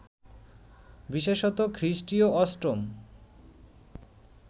বিশেষত খ্রিস্টীয় অষ্টম